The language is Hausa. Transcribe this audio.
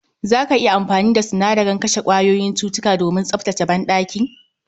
Za ka iya amfani da sinadaren kashe kwayoyin cutuka domin tsaftace banɗaki